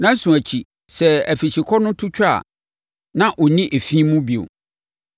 “ ‘Nnanson akyi, sɛ afikyikɔ no twa a, na ɔnni efi mu bio.